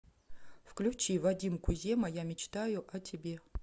включи вадим кузема я мечтаю о тебе